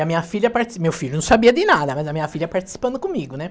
E a minha filha parti, meu filho não sabia de nada, né, mas a minha filha participando comigo, né?